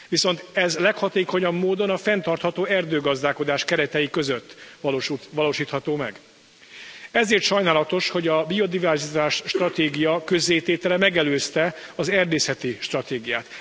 Viszont ez leghatékonyabb módon a fenntartható erdőgazdálkodás keretei között valósítható meg, ezért sajnálatos, hogy a biodiverzitási stratégia közzététele megelőzte az erdészeti stratégiát.